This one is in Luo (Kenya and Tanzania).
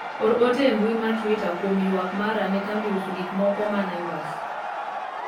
or ote e mbui mar twita kuom ywak mara ne kambi uso gik moro ma Naivas